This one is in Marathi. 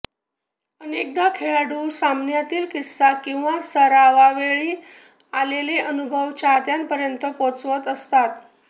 अनेकदा खेळाडू सामन्यातील किस्सा किंवा सरावावेळी आलेले अनुभव चाहत्यांपर्यंत पोहोचवत असतात